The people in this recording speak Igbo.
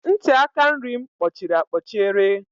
Ntị aka nri m kpọchiri akpọchiere.